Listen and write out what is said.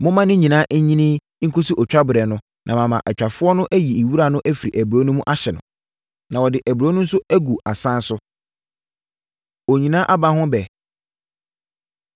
Momma ne nyinaa nyini nkɔsi otwa berɛ na mama atwafoɔ ayiyi wira no afiri aburoo no mu ahye no, na wɔde aburoo no nso agu asan so.’ ” Onyina Aba Ho Ɛbɛ